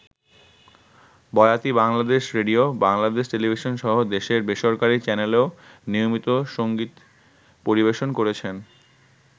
বয়াতি Bangladesh radio, Bangladesh টেলিভিশনসহ দেশের বেসরকারি চ্যানেলেও নিয়মিত সংগীত পরিবেশন করেছেন।